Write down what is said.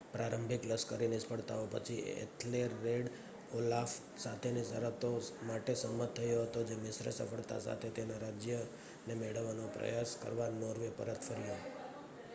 પ્રારંભિક લશ્કરી નિષ્ફળતાઓ પછી એથેલરેડ ઓલાફ સાથેની શરતો માટે સંમત થયો હતો, જે મિશ્ર સફળતા સાથે તેના રાજ્યને મેળવવાનો પ્રયાસ કરવા નોર્વે પરત ફર્યો